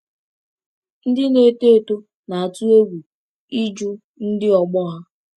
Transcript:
Ndị na-eto eto na-atụ egwu ịjụ ndị ọgbọ ha.